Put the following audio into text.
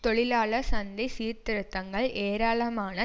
தொழிலாளர் சந்தை சீர்திருத்தங்கள் ஏராளமான